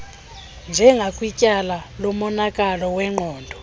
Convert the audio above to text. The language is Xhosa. njengakwityala lomonakalo wengqondo